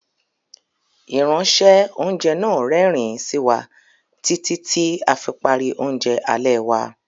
Ìránṣẹ́- oúnjẹ náà rẹ́rìn-ín sí wa títí tí a fi parí oúnjẹ alẹ́ wa.